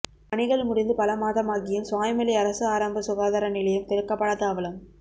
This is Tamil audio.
பணிகள் முடிந்து பல மாதமாகியும் சுவாமிமலை அரசு ஆரம்ப சுகாதார நிலையம் திறக்கப்படாத அவலம்